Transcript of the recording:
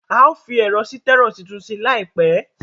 A ó fi ẹ̀rọ sítẹ́rò tuntun sí láìpẹ́